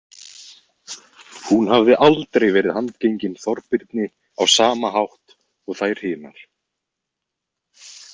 Hún hafði aldrei verið handgengin Þorbirni á sama hátt og þær hinar.